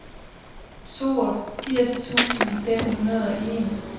toogfirs tusind fem hundrede og en